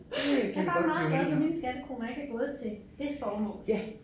Jeg bare meget glad for mine skattekroner ikke er gået til det formål